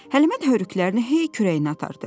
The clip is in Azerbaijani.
Həlimə də hörükələrini hey kürəyinə atardı.